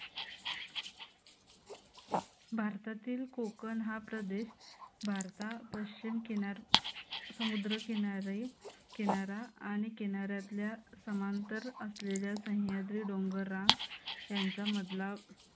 भारतातील कोकण हा प्रदेश भारतात पश्चिम किनार समुद्र किनारी किनारा आणि किनारातल्या समांतर असलेल्या सह्याद्री डोंगरात त्यांच्या मधला